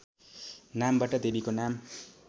नामबाट देवीको नाम